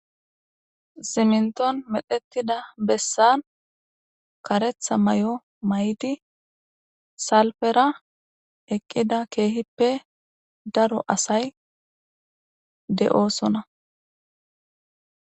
Siminton medhettida bessan karetha may'o may'di salfera eqqida keehippe daro asay de'oosona.